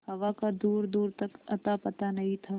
हवा का दूरदूर तक अतापता नहीं था